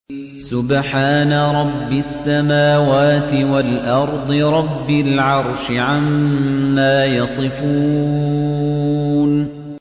سُبْحَانَ رَبِّ السَّمَاوَاتِ وَالْأَرْضِ رَبِّ الْعَرْشِ عَمَّا يَصِفُونَ